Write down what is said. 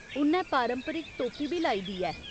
उ'न्नै पारंपरिक टोपी बी लाई दी ऐ।